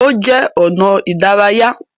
Ó jẹ́ ọnà ìdárayá.